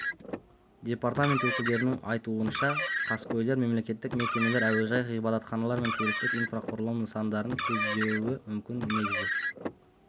департамент өкілдерінің айтуынша қаскөйлер мемлекеттік мекемелер әуежай ғибадатхана мен туристік инфрақұрылым нысандарын көздеуі мүмкін негізі